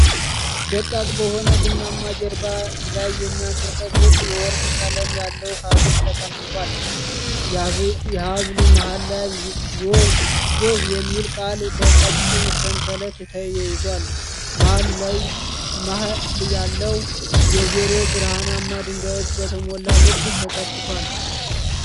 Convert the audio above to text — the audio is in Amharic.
ደቃቅ በሆነ ቡናማ ጀርባ ላይ የሚያብረቀርቅ የወርቅ ቀለም ያለው ሐብል ተቀምጧል። የሐብሉ መሃል ላይ “ሎቭ” የሚለው ቃል በቀጭን ሰንሰለት ተያይዟል። መሃል ያለው “o” በብርሃን ድንጋዮች በተሞላ ልብ ተተክቷል።